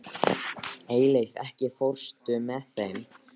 Eyleif, ekki fórstu með þeim?